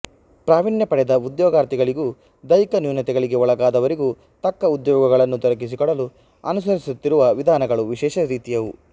ಪ್ರಾವೀಣ್ಯಪಡೆದ ಉದ್ಯೋಗಾರ್ಥಿಗಳಿಗೂ ದೈಹಿಕ ನ್ಯೂನತೆಗಳಿಗೆ ಒಳಗಾದವ ರಿಗೂ ತಕ್ಕ ಉದ್ಯೋಗಗಳನ್ನು ದೊರಕಿಸಿಕೊಡಲು ಅನುಸರಿಸುತ್ತಿರುವ ವಿಧಾನಗಳು ವಿಶೇಷ ರೀತಿಯವು